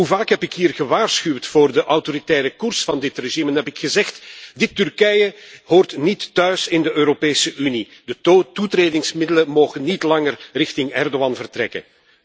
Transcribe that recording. Hoe vaak heb ik hier gewaarschuwd voor de autoritaire koers van dit regime en heb ik gezegd Dit Turkije hoort niet thuis in de Europese Unie, de toetredingsmiddelen mogen niet langer richting Erdogan vertrekken.